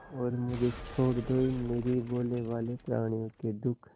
और मुझे छोड़ दो इन निरीह भोलेभाले प्रणियों के दुख